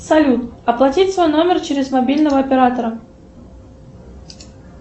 салют оплатить свой номер через мобильного оператора